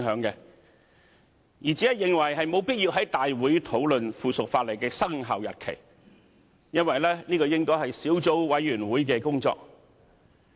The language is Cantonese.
我只是認為沒有必要在大會討論《修訂規則》的生效日期，因為這應該是小組委員會的工作。